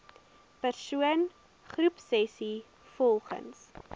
persoon groepsessies volgens